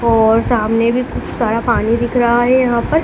और सामने भी खूब सारा पानी दिख रहा है यहां पर।